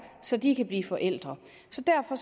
så de kan blive forældre så derfor